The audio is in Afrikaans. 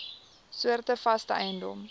soorte vaste eiendom